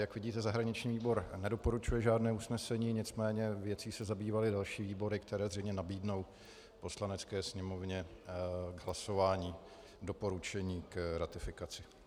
Jak vidíte, zahraniční výbor nedoporučuje žádné usnesení, nicméně věcí se zabývaly další výbory, které zřejmě nabídnou Poslanecké sněmovně k hlasování doporučení k ratifikaci.